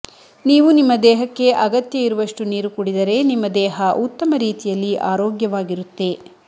ನೀವು ನಿಮ್ಮ ದೇಹಕ್ಕೆ ಅಗತ್ಯ ಇರುವಷ್ಟು ನೀರು ಕುಡಿದರೆ ನಿಮ್ಮ ದೇಹ ಉತ್ತಮ ರೀತಿಯಲ್ಲಿ ಆರೋಗ್ಯವಾಗಿರುತ್ತೆ